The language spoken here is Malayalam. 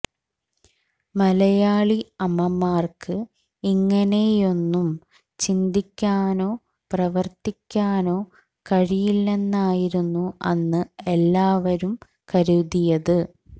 മലയാളി അമ്മമാർക്ക് ഇങ്ങനെയൊന്നും ചിന്തിക്കാനോ പ്രവർത്തിക്കാനോ കഴിയില്ലെന്നായിരുന്നു അന്ന് എല്ലാവരും കരുതിയത്